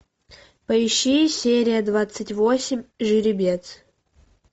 поищи серия двадцать восемь жеребец